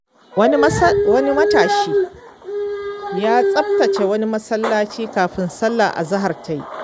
Wani matashi ya tsabtace wani masallaci kafin sallar azahar ta yi.